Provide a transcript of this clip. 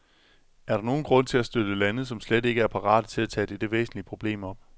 Er der nogen grund til at støtte lande, som slet ikke er parate til at tage dette væsentlige problem op?